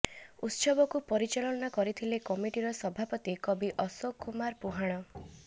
ଉତ୍ସବକୁ ପରିଚାଳନା କରିଥିଲେ କମିଟିର ସଭାପତି କବି ଅଶୋକ କୁମାର ପୁହାଣ